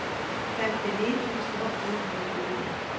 femtini tusen åtte hundre og tjueni